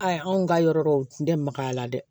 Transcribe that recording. Ayi anw ka yɔrɔ dɔw tun tɛ makaya la dɛ